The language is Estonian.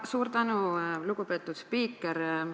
Suur tänu, lugupeetud spiiker!